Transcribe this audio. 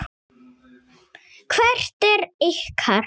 Hvert er ykkar?